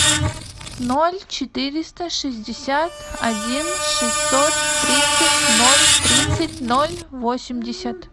ноль четыреста шестьдесят один шестьсот тридцать ноль тридцать ноль восемьдесят